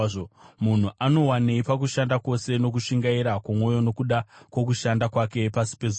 Munhu anowanei pakushanda kwose nokushingaira kwomwoyo nokuda kwokushanda kwake pasi pezuva?